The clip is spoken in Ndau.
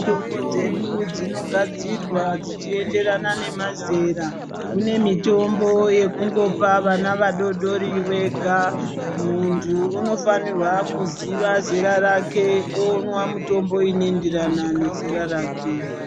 Mitombo dzedu dzinogadzirwa dzichienda nemazera kunemiyomno yekungopa vana vadoodori vega muntu unofanira kuziva zera rake unwa mutombo inoenderana nezera rake.